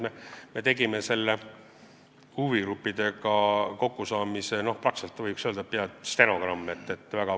Me protokollisime selle huvigruppidega kokkusaamise väga põhjalikult, see on, võiks öelda, peaaegu stenogramm.